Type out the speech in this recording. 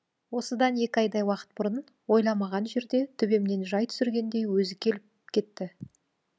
осыдан екі айдай уақыт бұрын ойламаған жерде төбемнен жай түсіргендей өзі келіп кетті